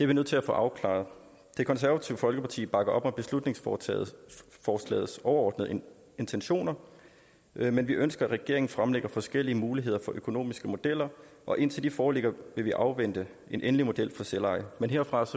vi nødt til at få afklaret det konservative folkeparti bakker op om beslutningsforslagets overordnede intentioner men vi ønsker at regeringen fremlægger forskellige muligheder for økonomiske modeller og indtil de foreligger vil vi afvente en endelig model for selveje men herfra